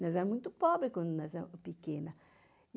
Nós éramos muito pobres quando nós éramos pequenas.